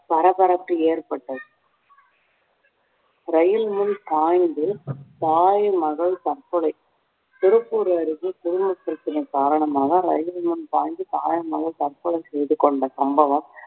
பரபரப்பு ஏற்பட்டது ரயில் முன் பாய்ந்து தாய், மகள் தற்கொலை திருப்பூர் அருகே குடும்பப் பிரச்சனை காரணமாக ரயிலின் முன் பாய்ந்து தாயும், மகளும் தற்கொலை செய்து கொண்ட சம்பவம்